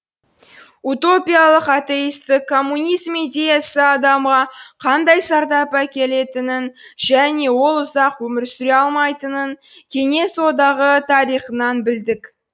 утопиялық атеистік коммунизм идеясы адамға қандай зардап әкелетінін және ол ұзақ өмір сүре алмайтынын кеңес одағы тарихынан білдік